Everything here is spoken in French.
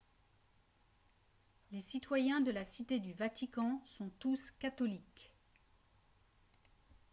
les citoyens de la cité du vatican sont tous catholiques